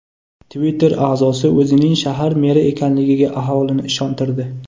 Twitter a’zosi o‘zining shahar meri ekanligiga aholini ishontirdi.